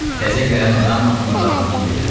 Təzə gələn adam atını rahatlayıb gedirdi.